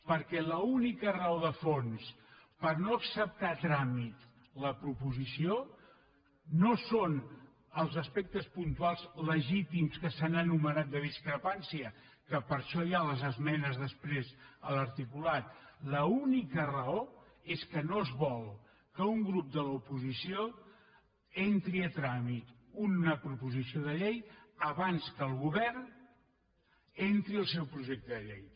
perquè l’única raó de fons per no acceptar a tràmit la proposició no són els aspectes puntuals le·gítims que s’han enumerat de discrepància que per a això hi ha les esmenes després a l’articulat l’única raó és que no es vol que un grup de l’oposició entri a trà·mit una proposició de llei abans que el govern entri el seu projecte de llei